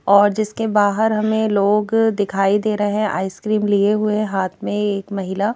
और जिसके बाहर हमें लोग दिखाई दे रहें आइसक्रीम लिए हुए हाथ में एक महिला--